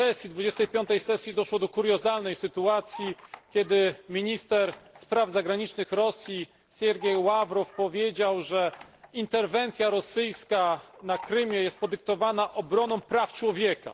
25. sesji doszło do kuriozalnej sytuacji, kiedy minister spraw zagranicznych Rosji Sergiej Ławrow powiedział, że interwencja rosyjska na Krymie jest podyktowana obroną praw człowieka.